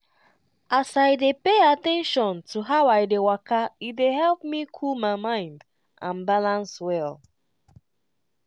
as i dey pay at ten tion to how i dey waka e dey help me cool my mind and balance well.